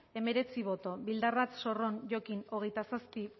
hemeretzi bai hogeita zazpi